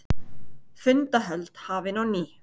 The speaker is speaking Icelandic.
Fundahöld hafin á ný